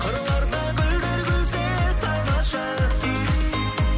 қырларда гүлдер күлсе тамаша